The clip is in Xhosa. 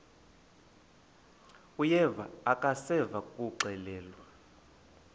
uyeva akuseva ngakuxelelwa